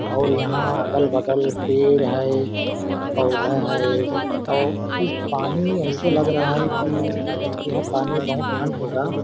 और यहाँ अगल-बगल पेड़ है पौधा है और इस पानी ऐसे लग रहा है की यह पानी बहोत ठण्ड होगा।